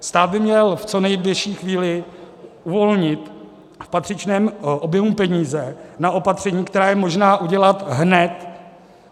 Stát by měl v co nejbližší chvíli uvolnit v patřičném objemu peníze na opatření, která je možné udělat hned.